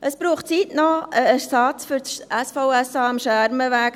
Es braucht einen Ersatz für das SVSA am Schermenweg.